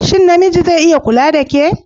Shin namiji zai iya kula da ke?